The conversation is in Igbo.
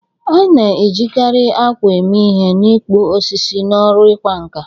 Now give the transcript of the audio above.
A na-ejikarị akwa eme ihe n'ịkpụ osisi n'ọrụ ịkwa nkà.